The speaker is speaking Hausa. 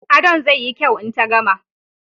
Adon zai yi kyau in ta gama